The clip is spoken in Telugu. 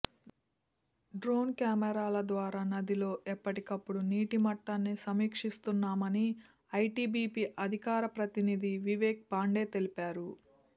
డ్రోన్ కెమెరాల ద్వారా నదిలో ఎప్పటికప్పుడు నీటి మట్టాన్ని సమీక్షిస్తున్నామని ఐటీబీపీ అధికార ప్రతినిధి వివేక్ పాండే తెలిపారు